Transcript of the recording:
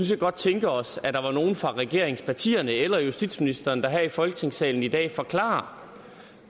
set godt tænke os at der var nogle fra regeringspartierne eller justitsministeren der her i folketingssalen i dag forklarer